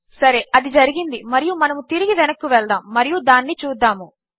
సరే అదిజరిగిందిమరియుమనముతిరిగివెనక్కువెళ్దాముమరియుదానినిచూద్దాము